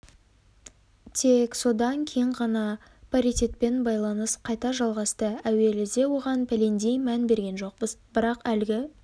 тек содан кейін ғана паритетпен байланыс қайта жалғасты әуеліде оған пәлендей мән берген жоқпыз бірақ әлгі